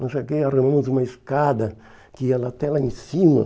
cheguei, Nós arrumamos uma escada que ia até lá em cima.